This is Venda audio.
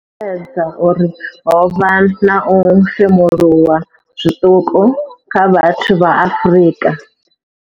Yo sumbedza uri ho vha na u femuluwa zwiṱuku kha vhathu vha Afrika.